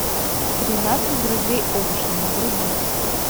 тринадцать друзей оушена вруби